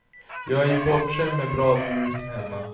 Jag är ju bortskämd med bra ljud hemma.